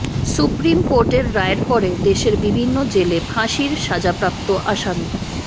supreme কোর্টের রায়ের পরে দেশের বিভিন্ন জেলে ফাঁসির সাজাপ্রাপ্ত আসামির